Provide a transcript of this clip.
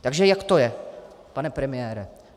Takže jak to je, pane premiére?